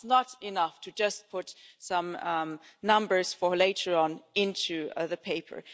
It's not enough to just put some numbers for later on into the paper.